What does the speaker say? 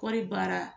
Kɔɔri baara